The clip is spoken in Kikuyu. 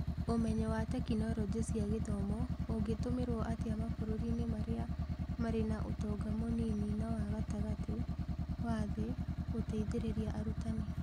Ũmenyo wa Tekinoronjĩ cia Gĩthomo ũngĩtũmĩra atĩa mabũrũri-inĩ marĩa marĩ na ũtonga mũnini na wa gatagatĩ wa thĩ gũteithĩrĩria arutani?